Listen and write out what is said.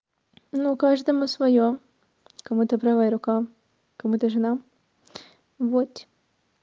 ну каждому своё кому-то правая рука кому-то жена вот